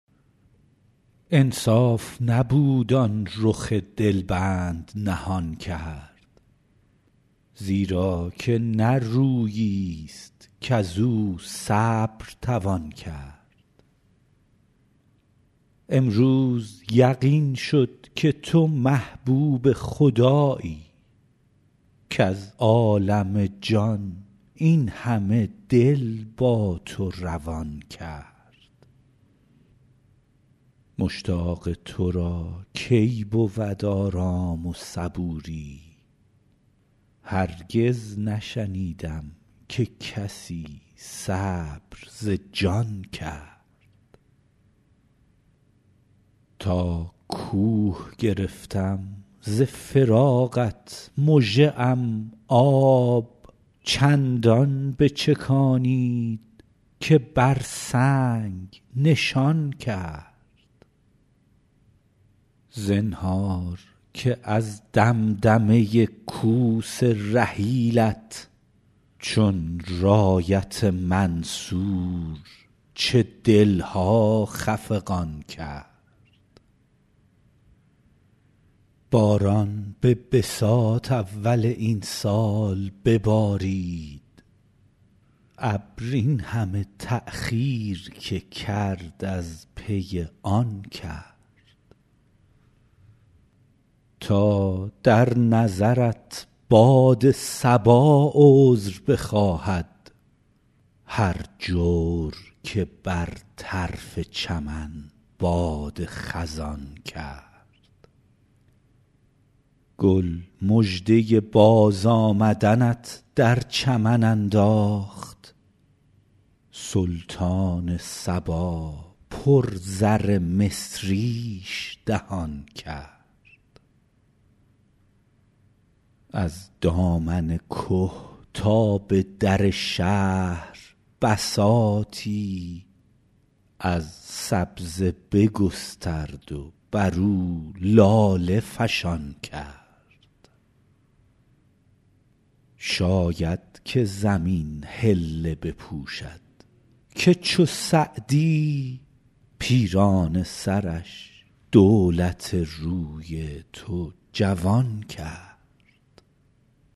انصاف نبود آن رخ دل بند نهان کرد زیرا که نه رویی ست کز او صبر توان کرد امروز یقین شد که تو محبوب خدایی کز عالم جان این همه دل با تو روان کرد مشتاق تو را کی بود آرام و صبوری هرگز نشنیدم که کسی صبر ز جان کرد تا کوه گرفتم ز فراقت مژه ام آب چندان بچکانید که بر سنگ نشان کرد زنهار که از دمدمه کوس رحیلت چون رایت منصور چه دل ها خفقان کرد باران به بساط اول این سال ببارید ابر این همه تأخیر که کرد از پی آن کرد تا در نظرت باد صبا عذر بخواهد هر جور که بر طرف چمن باد خزان کرد گل مژده بازآمدنت در چمن انداخت سلطان صبا پر زر مصریش دهان کرد از دامن که تا به در شهر بساطی از سبزه بگسترد و بر او لاله فشان کرد شاید که زمین حله بپوشد که چو سعدی پیرانه سرش دولت روی تو جوان کرد